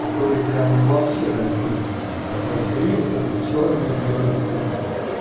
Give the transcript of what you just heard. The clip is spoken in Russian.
которые прямо ну вообще дальтоники у которых риле только чёрный и белый цвета